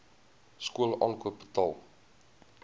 skool aankoop betaal